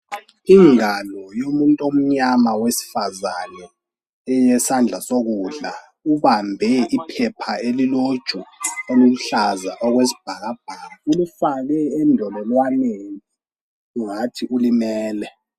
Ingalo yomuntu omnyama wesifazane eyesandla sokudla ubambe iphepha eliloju oluluhlaza okwesibhakabhaka. Ulifake endololwaneni ungathi ulimele.